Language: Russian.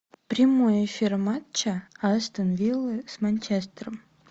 прямой эфир матча астон виллы с манчестером